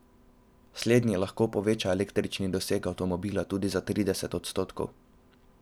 Slednji lahko poveča električni doseg avtomobila tudi za trideset odstotkov.